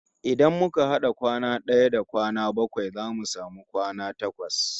Idan muka had'a kwana d'aya da kwana bakwai zamu samu kwana takwas